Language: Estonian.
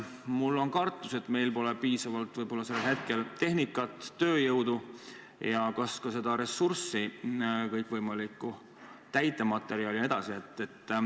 Ma kardan, et meil võib-olla pole seal hetkel enam piisavalt tehnikat, tööjõudu ja ka muud ressurssi, kõikvõimalikku täitematerjali jne.